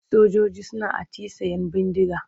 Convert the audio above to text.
Sojoji suna atisayen bindiga.